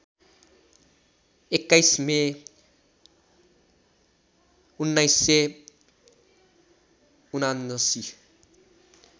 २१ May १९७९